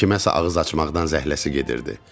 Kiməsə ağız açmaqdan zəhləsi gedirdi.